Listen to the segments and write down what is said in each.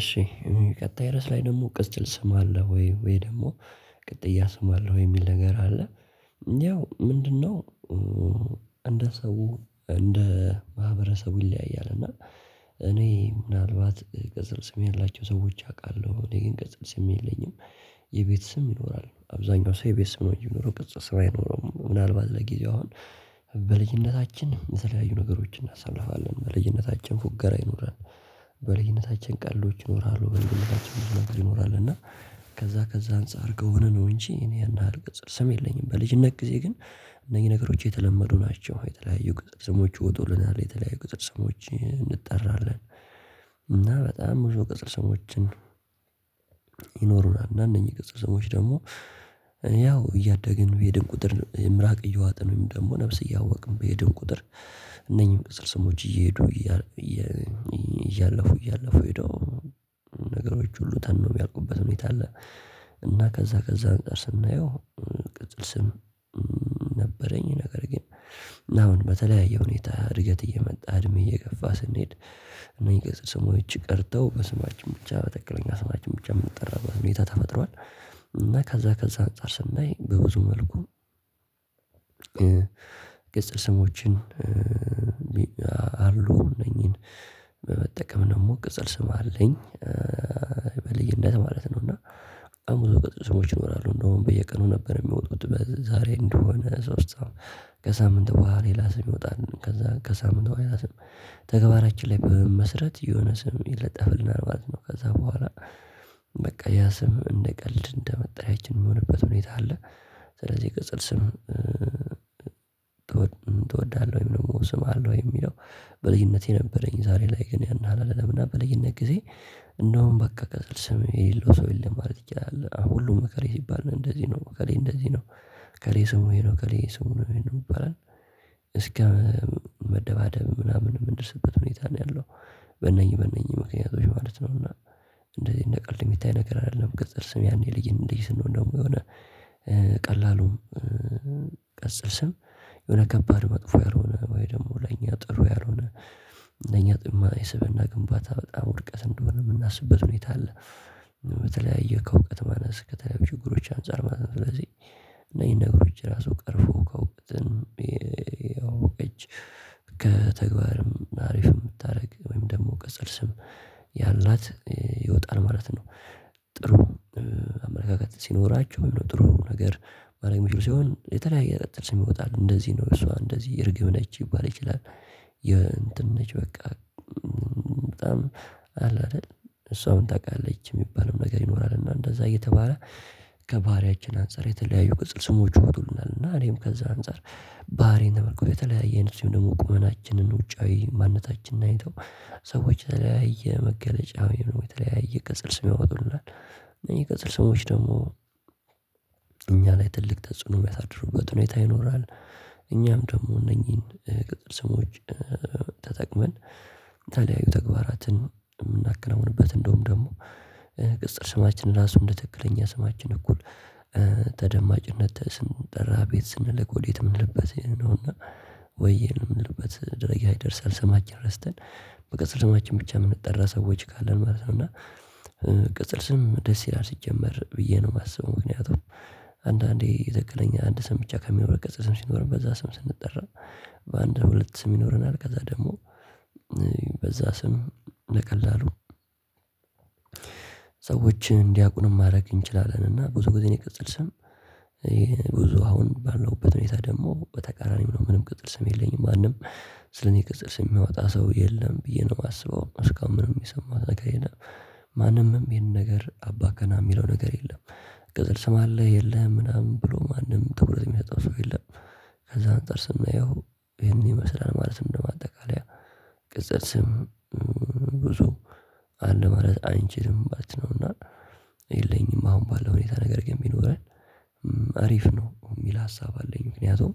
እሺ ቀጣይ ርዕስ ላይ ደግሞ ቅጽል ስም አለህ ወይ? ወይ ደግሞ ቅጥያ ስም አለ ወይ የሚል ነገር አለ ያው ምንድነው እንደ ሰው እንደ ማህበረሰቡ ይለያያል እና እኔ ምናልባት ቅጽል ስም ያላቸው ሰዎች አውቃለሁ እኔ ግን ቅጽል ስም የለኝም የቤት ስም ይኖራል አብዛኛው ሰው የቤት ስም ነው እንጂ የሚኖረው ቅጽል ስም አይኖረውም ምናልባት ለጊዜው አሁን በልጅነታችን የተለያዩ ነገሮችን እናሳልፋለን በልጅነታችን ፉገራ ይኖረን በልጅነታችን ቀልዶች ይኖራሉ በልጅነታችን ብዙ ነገር ይኖራል እና ከዛ ከዛ አንፃር ከሆነ ነው እንጂ እኔ ያን ያህል ቅጽል ስም የለኝም በልጅነት ጊዜ ግን እነኚህ ነገሮች የተለመዱ ናቸው የተለያዩ ቅጽል ስሞች ይወጡልናል የተለያዩ ቅጽል ሰሞች እንጠራለን እና በጣም ብዙ ቅጽል ስሞችን ይኖሩናል እና እንነኚህ ቅጽል ስሞችች ደግሞ ያው እያደግን በሄድን ቁጥር ምራቅ እየዋጥን ወይም ደግሞ ነፍስ እያወቅን በሄድን ቁጥር እነኚህን ቅጽል ስሞች እየሄዱ እያለፉ እያለፉ ሄደው ነገሮች ሁሉ ተነው የሚያልቁበት ሁኔታ አለ እና ከዛ ከዛ አንፃር ስናየው ቅጽል ስም ነበረኝ ነገር ግን አሁን በተለያየ ሁኔታ እድገት እየመጣ እድሜ እየገፋ ስንሄድ እነዚህ ቅጽል ስሞች ቀርተው በስማችን ብቻ በትክክለኛ ስማችን ብቻ የምንጠራበት ሁኔታ ተፈጥሯል እና ከዛ ከዛ አንፃር ስናይ በብዙ መልኩ ቅጽል ስሞችን አሉ እነኚህን በመጠቀም ደግሞ ቅጽል ስም አለኝ በልዩነት ማለት ነው እና በጣም ብዙ ቅጽል ስሞች ይኖራሉ እንደውም በየቀኑ ነበር የሚወጡት ዛሬ እንደሆነ ሶስት ከሳምንት በኋላ ሌላ ስም ይወጣል ከዛ ከሳምንት በኋላ ሌላ ስም ተግባራች ላይ በመመስረት የሆነ ስም ይለጠፍልናል ማለት ነው ከዛ በኋላ በቃ ያ ስም እንደ ቀልድ እንደ መጠሪያችን የሚሆንበት ሁኔታ አለ ስለዚህ ቅጽል ስም ትወዳለህ ወይ? ስም አለው ወይ? የሚለው በልጅነቴ ነበረኝ። ዛሬ ላይ ግን ያን ያህል አይደለም። እና በልጅነት ጊዜ እንደውም በቃ ቅጽል ስም የሌለው ሰው የለም ማለት ይቻላል። ሁሉም እከሌ ሲባል እንደዚህ ነው እከሌ እንደዚህ ነው እከሌ ስሙ ይሄ ነው፣ እከሌ ስሙ ይሄ ነው የሚባለው እስከ መደባደብ ምናምን የምንደርስበት ሁኔታ ነው ያለው። በነኚህ በነኚህ ምክንያቶች ማለት ነው። እና እንደዚህ እንደቀልድ የሚታይ ነገር አይደለም። ቅጽል ስሜ ያኔ ልጅ እንደዚህ ስንሆን ደግሞ የሆነ ቀላሉም ቅጽል ስም የሆነ ከባድ መጥፎ ያልሆነ ወይ ደግሞ ለኛ ጥሩ ያልሆነ ለኛ ጥማ የስብእና ግንባታ በጣም ውድቀት እንደሆነ የምናስብበት ሁኔታ አለ። በተለያየ ከእውቀት ማነስ ከተለያዩ ችግሮች አንፃር ማለት ነው። ስለዚህ እነዚህ ነገሮች ራሱ ቀርፎ እውቀትን ያው ኧጭ ከተግባርም አሪፍ የምታደርግ ወይም ደግሞ ቅጽል ስም ያላት ይወጣል ማለት ነው። ጥሩ አመለካከት ሲኖራቸው የሚለው ጥሩ ነገር ማድረግ የሚችሉ ሲሆን የተለያየ ቅጽል ስም ይወጣል። እደዚህ ነው እሷ እንደዚህ እርግብ ነች ሊባል ይችላል። የእንትን ነች በቃ በጣም አለ አይደል እሷም ታውቃለች የሚባልም ነገር ይኖራል። እና እንደዛ እየተባለ ከባህሪያችን አንፃር የተለያዩ ቅጽል ስሞች ይወጡልናል እና እኔም ከዛ አንፃር ባህሪየን ተመርኩዞ የተለያየ እደዚሁም ደግሞ ቁመናችንን ውጫዊ ማንነታችንን አይተው ሰዎች የተለያየ መገለጫ ወይም የተለያየ ቅጽል ስም ያወጡልናል። እኚህ ቅጽል ስምች ደግሞ እኛ ላይ ትልቅ ተጽዕኖ የሚያሳድሩበት ሁኔታ ይኖራል። እኛም ደግሞ እነኚህን ቅጽል ስሞች ተጠቅመን ታዲያ ይኸው ተግባራትን የምናከናውንበት እንደውም ደግሞ ቅጽል ስማችን ራሱ እንደ ትክክለኛ ስማችን እኩል ተደማጭነት ስንጠራ አቤት ስንል ወዴት የምንልበት ይሄን ነው። እና ወዬ የምንልበት ደረጃ ይደርሳል። ስማችን ረስተን በቅጽል ሰማችን ብቻ የምንጠራ ሰዎች ካለን ማለት ነው። እና ቅጽል ስም ደስ ይላል ሲጀመር ብዬ ነው የማስበው። ምክንያቱም አንዳንዴ ትክክለኛ አንድ ስም ብቻ ከሚኖር ቅጽል ስም ሲኖር በዛ ስም ስንጠራ በአንድ ሁለት ስም ይኖረናል። ከዛ ደግሞ በዛ ስም በቀላሉ ሰዎችን እንዲያውቁንም ማድረግ እንችላለን። እና ብዙ ጊዜ እኔ ቅጽል ስም ይሄ ብዙ አሁን ባለውበት ሁኔታ ደግሞ በተቃራኒው ነው። ምንም ቅጽል ስም የለኝም። ማንም ስለኔ ቅጽል ስም የሚያወጣ ሰው የለም ብዬ ነው የማስበው። እስካሁን ምንም የሰማሁት ነገር የለም። ማንምም ይሄን ነገር አባ ገና የሚለው ነገር የለም። ቅጽል ስም አለህ የለህም ምናምን ብሎ ማንም ትኩረት የሚሰጠው ሰው የለም። ከዛ አንፃር ስናየው ይሄን ይመስላል ማለት ነው። እንደ ማጠቃለያ ቅጽል ስም ብዙ አለ ማለት አንቺልም ማለት ነው። እና የለኝም አሁን ባለው ሁኔታ ነገር ግን ቢኖረኝ አሪፍ ነው የሚል ሀሳብ አለኝ። ምክንያቱም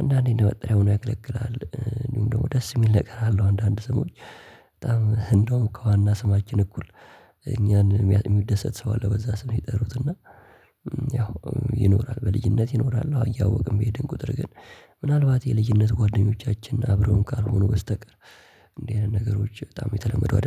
አንዳንዴ እንደመጠሪያ ሆኖ ያገለግላል። እንደውም ደግሞ ደስ የሚል ነገር አለው። አንዳንድ ሰሞን በጣም እንደውም ከዋና ስማችን እኩል እኛን የሚደሰት ሰው አለ። በዛ ስም ይጠሩትና ያው ይኖራል። በልጅነት ይኖራል። እያወቅን በሄድን ቁጥር ግን ምናልባት የልጅነት ጓደኞቻችን አብረውን ካልሆኑ በስተቀር እንደዚህ አይነት ነገሮች በጣም የተለመዱ አይደለም